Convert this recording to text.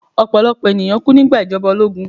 Ọ̀pọ̀lọ̀pọ̀ ènìyàn kú nígbà ìjọba ológun